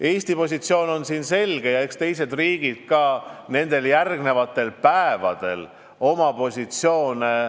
Eesti positsioon on selge ja eks teised riigid kujundavad järgmistel päevadel ka oma positsiooni.